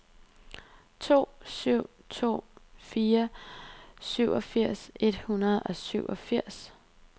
to syv to fire syvogfirs et hundrede og syvogfirs